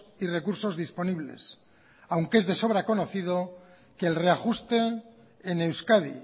y recursos disponibles aunque es de sobra conocido que el reajuste en euskadi